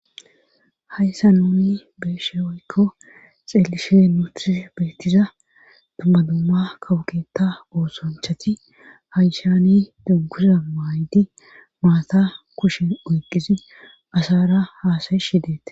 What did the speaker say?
hayssa nuni be'eshe woykko xeelishe nuuni beettiza dumma dumma kawo keta oosonchati hayishani dunguza maaydi maata kushen oyqisi asara haasayishi deetes